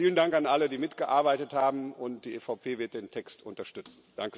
Vielen Dank an alle, die mitgearbeitet haben, und die EVP wird den Text unterstützen.